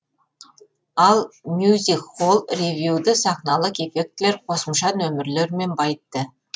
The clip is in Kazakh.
ал мюзик холл ревюді сахналық эффектілер қосымша нөмірлермен байытты